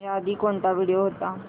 याआधी कोणता व्हिडिओ होता